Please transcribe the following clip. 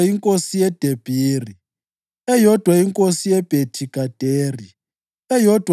inkosi yeDebhiri, eyodwa inkosi yeBhethi-Gaderi, eyodwa